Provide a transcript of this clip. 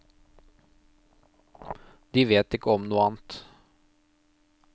De vet ikke om noe annet.